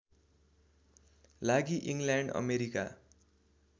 लागि England America